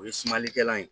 O ye sumalikɛla ye